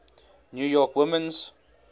new york women's